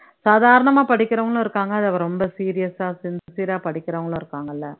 சாதாரணமா படிக்கிறவங்களும் இருக்காங்க ரொம்ப serious ஆ sincere ஆ படிக்கிறவங்களும் இருக்காங்கல்ல